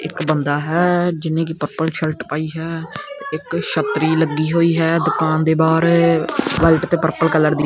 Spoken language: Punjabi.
ਇੱਕ ਬੰਦਾ ਹੈ ਜਿੰਨੇ ਕਿ ਪਰਪਲ ਸ਼ਰਟ ਪਾਈ ਹੈ ਇਕ ਛੱਤਰੀ ਲੱਗੀ ਹੋਈ ਹੈ ਦੁਕਾਨ ਦੇ ਬਾਹਰ ਵਾਇਟ ਤੇ ਪਰਪਲ ਕਲਰ ਦੀ।